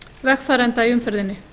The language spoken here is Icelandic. vegfarenda í umferðinni